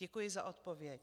Děkuji za odpověď.